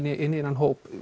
í þennan hóp